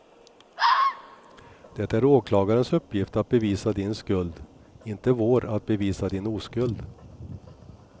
Det är åklagarens uppgift att bevisa din skuld, inte vår att bevisa din oskuld.